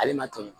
Ale ma toli